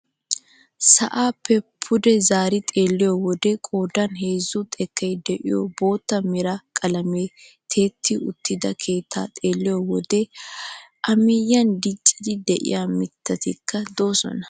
Sa'aappe pude zaari xeelliyoo wode qoodan heezzu xekkay de'iyoo bootta mera qalamiyaan tiyetti uttida keettaa xeelliyo wode a miyiyaan dicciidi de'iyaa mittatikka de'oosona